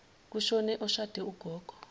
kushone oshade ugogo